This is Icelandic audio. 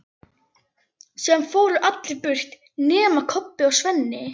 Síðan fóru allir burt nema Kobbi og Svenni.